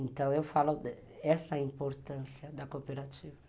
Então, eu falo dessa importância da cooperativa.